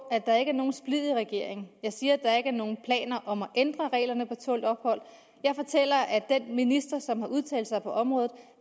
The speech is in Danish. at der ikke er nogen splid i regeringen jeg siger at der ikke er nogen planer om at ændre reglerne for tålt ophold jeg fortæller at den minister som har udtalt sig på området